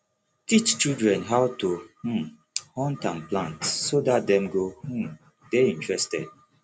teach children how to um hunt and plant so that dem go um de interested